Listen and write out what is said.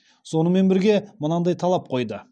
сонымен бірге мынадай талап қойды